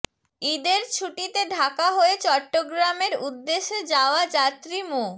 ঈদের ছুটিতে ঢাকা হয়ে চট্টগ্রামের উদ্দেশে যাওয়া যাত্রী মো